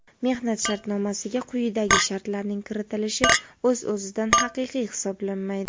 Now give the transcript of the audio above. mehnat shartnomasiga quyidagi shartlarning kiritilishi o‘z o‘zidan haqiqiy hisoblanmaydi:.